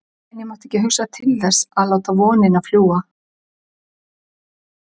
En ég mátti ekki til þess hugsa að láta vonina fljúga.